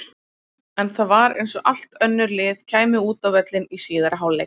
En það var eins og allt önnur lið kæmu út á völlinn í síðari hálfleik.